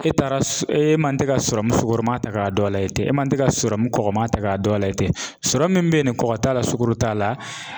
E taara s e man tɛ ka sɔrɔmu sugɔrɔma ta ka don a la yen ten e man te ka sɔrɔmu kɔkɔma ta ka don a la ten sɔrɔmu min be yen ni kɔgɔ t'a la sugoro t'a la